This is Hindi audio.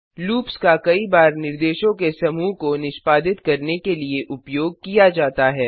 लूप्स का कई बार निर्देशों के समूह को निष्पादित करने के लिए उपयोग किया जाता है